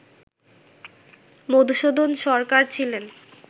মধুসূদন সরকার ছিলেন